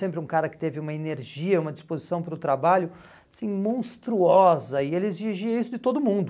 Sempre um cara que teve uma energia, uma disposição para o trabalho assim monstruosa e ele exigia isso de todo mundo.